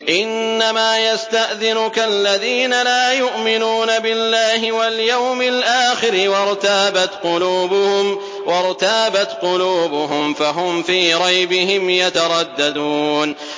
إِنَّمَا يَسْتَأْذِنُكَ الَّذِينَ لَا يُؤْمِنُونَ بِاللَّهِ وَالْيَوْمِ الْآخِرِ وَارْتَابَتْ قُلُوبُهُمْ فَهُمْ فِي رَيْبِهِمْ يَتَرَدَّدُونَ